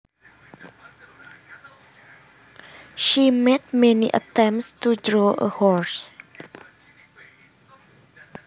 She made many attempts to draw a horse